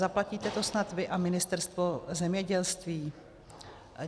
Zaplatíte to snad vy a Ministerstvo zemědělství?